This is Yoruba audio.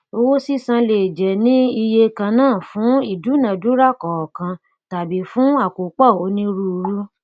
owó sísan lè jẹ ní ìye kannafún ìdúnàdúra kọọkan tabí fún àkópọ onírúurú